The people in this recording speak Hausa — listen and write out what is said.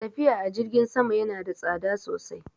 Tafiya a jirgin sama ya na da tsada sosai